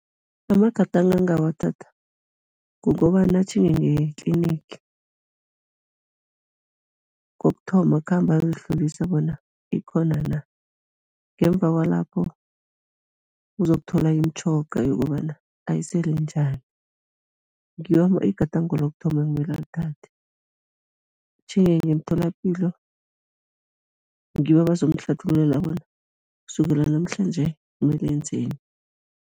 Amagadango angawathatha kukobana atjhinge nge-clinic. Kokuthoma, akhambe ayozihlolisa bona ikhona na? Ngemva kwalapho, uzokuthola imitjhoga yokobana ayisele njani, ngiwo igadango lokuthoma ekumele alithathe, atjhinge ngemtholapilo, ngibo abazomhlathululela bona kusukela namhlanje mele enzeni.